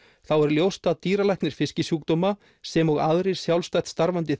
þá er ljóst að dýralæknir fiskisjúkdóma sem og aðrir sjálfstætt starfandi